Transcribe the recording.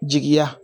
Jigiya